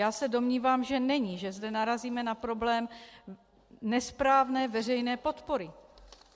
Já se domnívám, že není, že zde narazíme na problém nesprávné veřejné podpory.